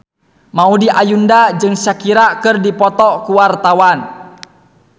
Maudy Ayunda jeung Shakira keur dipoto ku wartawan